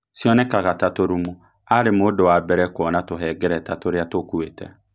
Cionekaga ta tũrumu. Aarĩ mũndũ wa mbere kũona tũhengereta tũrĩa tũkuĩte